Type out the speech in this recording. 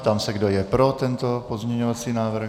Ptám se, kdo je pro tento pozměňovací návrh.